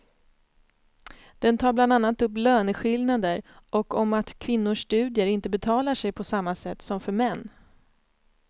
Den tar bland annat upp löneskillnader och om att kvinnors studier inte betalar sig på samma sätt som för män.